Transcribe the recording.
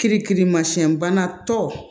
Kirikirimasiyɛnbana tɔ